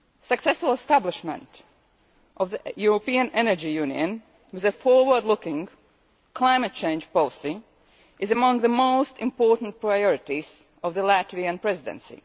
Successful establishment of the European Energy Union with a forward looking climate change policy is among the most important priorities of the Latvian Presidency.